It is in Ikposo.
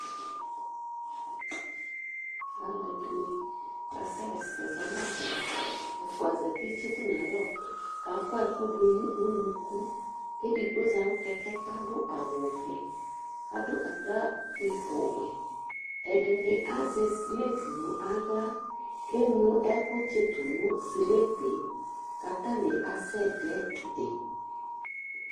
Alʋɛdini kasɛxasɛ zɔnʋ alɛ, ɛfʋa zati tsitʋ nʋ alɛ, kʋ akɔ ɛkʋdʋ nʋ ʋnʋkʋ Edigbo zati nʋ kɛkɛ kʋ adʋ awʋvɛ Adʋ atakpi ofue ɛdini azɛ slip nʋ aɣla kʋ eŋlo ɛkʋ tsitʋnʋ slipe, kʋ atani asɛdɛdi